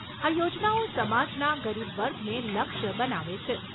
આ યોજનાઓ સમાજના ગરીબ વર્ગને લક્ષ્ય બનાવે છે.